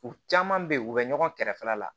U caman bɛ yen u bɛ ɲɔgɔn kɛrɛfɛla la